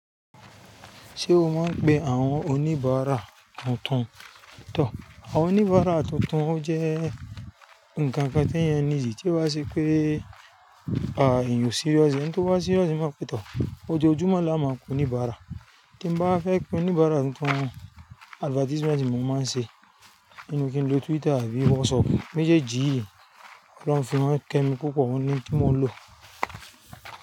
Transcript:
Ṣé o máa ń pe àwọn oníbàárà tuntun? Tọ, àwọn oníbàárà tuntun jẹ́ ǹkan kan tí èyán need tí o ba ṣe pé a èyán ò serious, ẹni tí ó bá serious mo pẹ́ tọ. Ojoojúmọ́ la má pé onibàárà. Tí n bá fẹ́ pé oníbàárà tuntun, advertisement ni mo máa ń ṣe. Ninu kí n lo Twitter àbí WhatsApp, méjèèjì yi, Ọlọrun fi wọn kẹ́ mi púpọ̀, òun ni n timo lò.